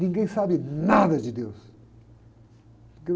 Ninguém sabe nada de deus.